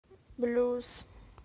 блюз